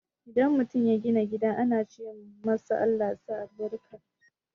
Idan mutum ya gina gida ana ce masa "ALLAH sa albarka"